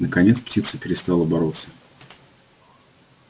наконец птица перестала бороться